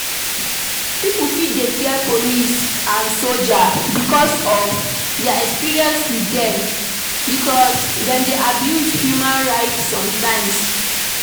Pipo fit dey fear police and soldier because of their experience with them because dem dey abuse human right sometimes